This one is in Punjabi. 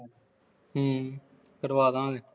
ਕਰਵਾ ਦਿਆਂਗੇ ਹੂੰ